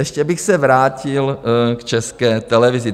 Ještě bych se vrátil k České televizi.